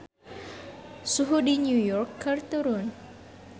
Suhu di New York keur turun